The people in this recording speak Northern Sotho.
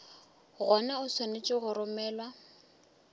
gona o swanetše go romelwa